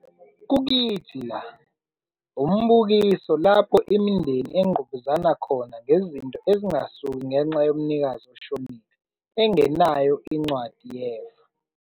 Kukithi La - Umbukiso lapho imindeni engqubuzana khona ngezinto ezingasuki ngenxa yomnikazi oshonile engenayo incwadi yefa.